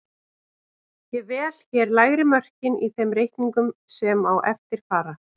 Ég vel hér lægri mörkin í þeim reikningum sem á eftir fara.